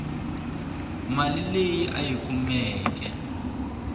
mali leyi a yi kumaku